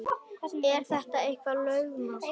Er þetta eitthvað lögmál?